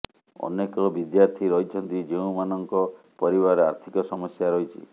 ଅନେକ ବିଦ୍ୟାର୍ଥୀ ରହିଛନ୍ତି ଯେଉଁମାନଙ୍କ ପରିବାର ଆର୍ଥିକ ସମସ୍ୟା ରହିଛି